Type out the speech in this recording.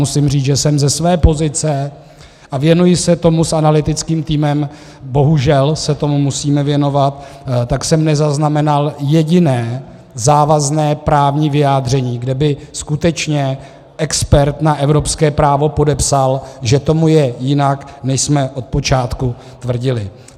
Musím říct, že jsem ze své pozice, a věnuji se tomu s analytickým týmem, bohužel se tomu musíme věnovat, tak jsem nezaznamenal jediné závazné právní vyjádření, kde by skutečně expert na evropské právo podepsal, že tomu je jinak, než jsme od počátku tvrdili.